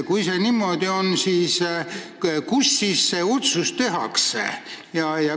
Kui see niimoodi on, siis kus see otsus tehakse?